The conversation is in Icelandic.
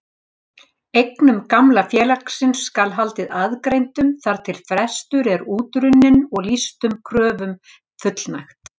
Eignum gamla félagsins skal haldið aðgreindum þar til frestur er útrunninn og lýstum kröfum fullnægt.